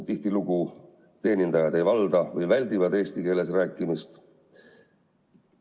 Tihtilugu teenindajad kas ei valda eesti keelt või väldivad eesti keeles rääkimist.